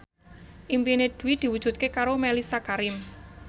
impine Dwi diwujudke karo Mellisa Karim